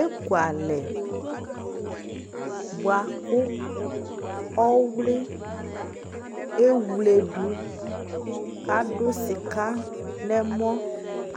Ekualɛ bʋakʋ Ɔwlɩ ewledu k'adʋ sɩka n'ɛmɔ